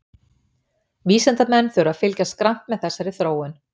Vísindamenn þurfa því að fylgjast grannt með þessari þróun.